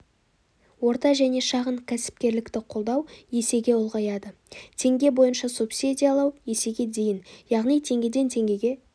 орта және шағын кәсіпкерлікті қолдау есеге ұлғаяды теңге бойынша субсидиялау есеге дейін яғни теңгеден теңгеге